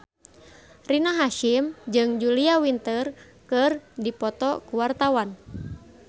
Rina Hasyim jeung Julia Winter keur dipoto ku wartawan